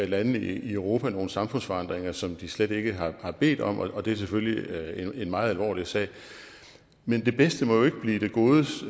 landene i europa nogle samfundsforandringer som de slet ikke har bedt om og det er selvfølgelig en meget alvorlig sag men det bedste må jo ikke blive det godes